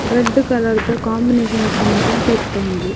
Red ಕಲರ್ದ ದ combination ಇಪ್ಪುನಂಚಿನ ಪೆತ್ತ ಉಂದು.